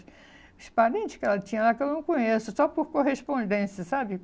Os parentes que ela tinha lá, que eu não conheço, só por correspondência, sabe?